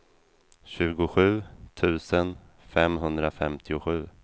tjugosju tusen femhundrafemtiosju